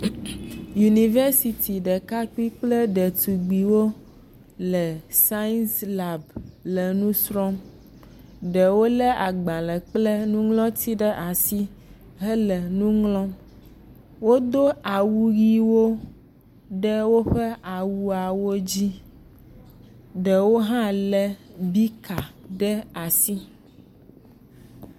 Yunivɛsiti ɖekakpui kple ɖetugbuiwo le sais lab le nu srɔ̃m. Ɖewo lé agbalẽ kple nuŋlɔti ɖe asi hele nu ŋlɔm. Wodo awu ʋiwo ɖe woƒe awuawo dzi, ɖewo hã lé bika ɖe asi.